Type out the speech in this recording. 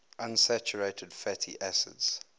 unsaturated fatty acids